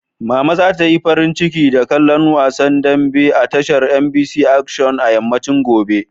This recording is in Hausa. Mama za ta yi farin ciki da kallon wasan dambe a tashar MBC Action a yammacin gobe.